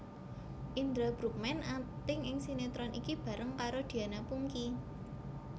Indra Bruggman akting ing sinetron iki bareng karo Diana Pungky